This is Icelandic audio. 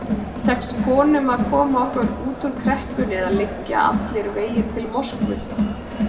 Tekst konum að koma okkur út úr kreppunni eða liggja allir vegir til Moskvu?